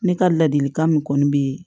Ne ka ladilikan min kɔni bɛ